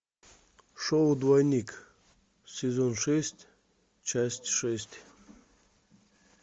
шоу двойник сезон шесть часть шесть